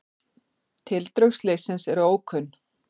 Tildrög slyssins eru ókunn.